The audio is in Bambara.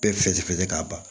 Bɛɛ fɛsɛfɛsɛ k'a ban